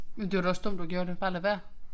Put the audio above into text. Men det var da også dumt du gjorde det bare lad være